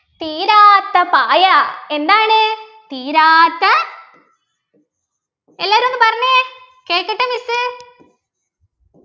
തീരാത്ത പായ എന്താണ് തീരാത്ത എല്ലാരും ഒന്ന് പറഞ്ഞെ കേക്കട്ടെ miss